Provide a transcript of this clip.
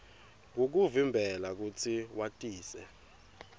kukuvimbela kutsi watise